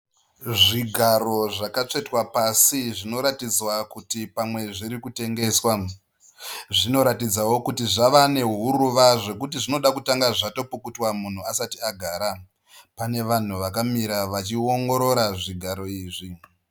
Zvigaro zvakatsvetwa pasi zvinotaridza kuti pamwe zviri kutengeswa. Zvinoratidzawo kuti zvava nehuruva zvekuti zvinoda kutanga zvatopukutwa munhu asati agara. Pane vanhu vakamira vachiwongorora zvigaro izvi